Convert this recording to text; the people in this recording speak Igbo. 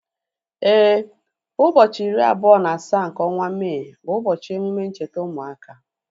Éè, ụbọchị iri abụọ na asaa nke ọnwa Mee bu ubochi emume ncheta ụmụaka